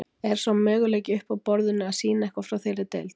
Er sá möguleiki uppi á borðinu að sýna eitthvað frá þeirri deild?